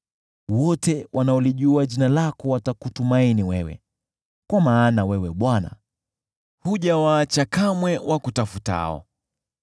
Wote wanaolijua jina lako watakutumaini wewe, kwa maana wewe Bwana , hujawaacha kamwe wakutafutao.